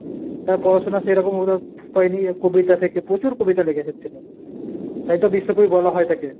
তার পড়াশুনা সেরকম পায়নি কবিতা থেকে পচুর কবিতা লিখেছেন তিনি। তাই তো বিশ্বকবি বলা হয় তাকে।